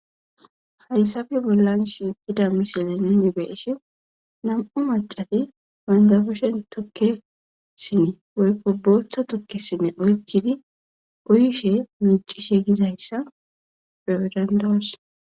Hayssappe bollan shiqidda missile nu be'ishin Nam'u maccati bentta kushshen tukke sinne woykko boththa tukke sinne oykkidi uyishshe miccishe gizayisa be'o danada'os.